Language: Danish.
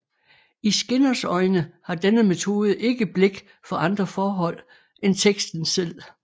I Skinners øjne har denne metode ikke blik for andre forhold end teksten selv